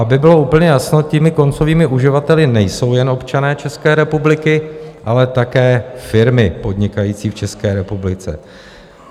Aby bylo úplně jasno, těmi koncovými uživateli nejsou jen občané České republiky, ale také firmy podnikající v České republice.